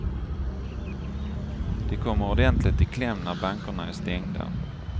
De kommer ordentligt i kläm när bankerna är stängda.